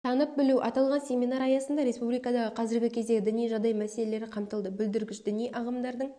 танып білу аталған семинар аясында республикадағы қазіргі кездегі діни жағдай мәселелері қамтылды бүлдіргіш діни ағымдардың